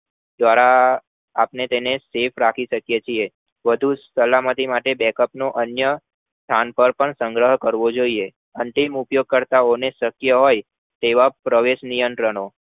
દ્વારા આપને તેને સેફ રાખી શકીએ છીએ વધુ સલામતી માટે backup નો અન્ય સંગરાજ કરવો જોય્એ અંતિમ ઉપયોગકર્તાઓને સત્ય હોય એવા પ્રવેશ્નીયાન્ત્રો